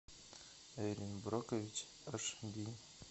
эрин брокович аш ди